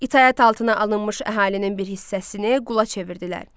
İtaət altına alınmış əhalinin bir hissəsini qula çevirdilər.